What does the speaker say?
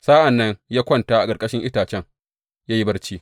Sa’an nan ya kwanta a ƙarƙashin itacen ya yi barci.